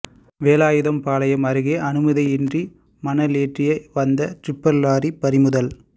வேலாயுதம்பாளையம் அருகே அனுமதியின்றி மணல் ஏற்றி வந்த டிப்பர் லாரி பறிமுதல்